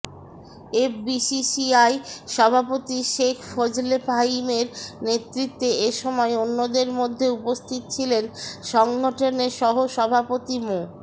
FBCCI সভাপতি শেখ ফজলে ফাহিমের নেতৃত্বে এ সময় অন্যদের মধ্যে উপস্থিত ছিলেন সংগঠনের সহসভাপতি মো